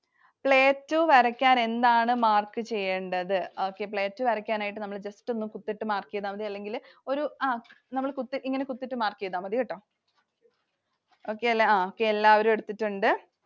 Plateau വരയ്ക്കാൻ നമ്മൾ എന്താണ് mark ചെയ്യേണ്ടത്? Plateau വരയ്ക്കാൻ ആയിട്ട് നമ്മൾ just ഒന്ന് കുത്തിട്ടു mark ചെയ്‌താൽ മതി അല്ലെങ്കിൽകുത്തിട്ടു ഇങ്ങനെ കുത്തിട്ടു mark ചെയ്‌താൽ മതികെട്ടോ. Okay അല്ലെ എല്ലാരും എടുത്തിട്ടുണ്ട്.